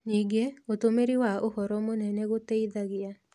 Ningĩ, ũtũmĩri wa ũhoro mũnene gũteithagia